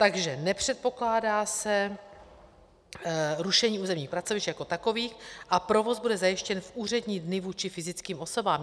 Takže nepředpokládá se rušení územních pracovišť jako takových a provoz bude zajištěn v úřední dny vůči fyzickým osobám.